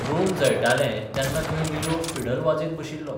Rome जळटालें तेन्ना खंय निरो फिडल बाजयत बशिल्लो.